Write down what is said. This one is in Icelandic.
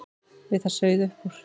Við það sauð upp úr.